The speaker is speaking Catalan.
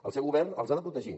el seu govern els ha de protegir